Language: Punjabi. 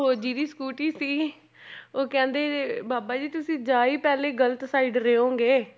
ਉਹ ਜਿਹਦੀ ਸਕੂਟਰੀ ਸੀਗੀ ਉਹ ਕਹਿੰਦੇ ਬਾਬਾ ਜੀ ਤੁਸੀਂ ਜਾ ਹੀ ਪਹਿਲੇ ਗ਼ਲਤ side ਰਹੇ ਹੋਵੋਂਗੇ